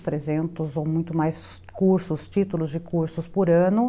trezentos ou muito mais cursos, títulos de cursos por ano.